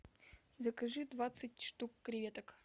закажи двадцать штук креветок